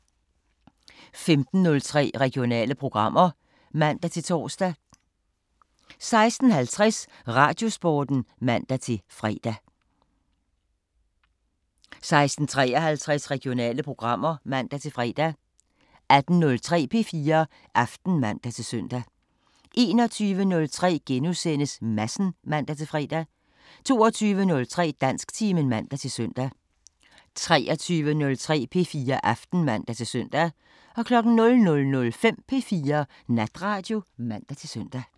15:03: Regionale programmer (man-tor) 16:50: Radiosporten (man-fre) 16:53: Regionale programmer (man-fre) 18:03: P4 Aften (man-søn) 21:03: Madsen *(man-fre) 22:03: Dansktimen (man-søn) 23:03: P4 Aften (man-søn) 00:05: P4 Natradio (man-søn)